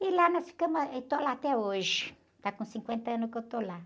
E lá nós ficamos, ah, estou lá até hoje, está com cinquenta anos que eu estou lá.